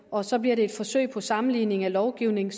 og så bliver det et forsøg på sammenligning af lovgivning